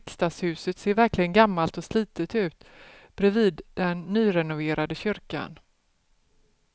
Riksdagshuset ser verkligen gammalt och slitet ut bredvid den nyrenoverade kyrkan.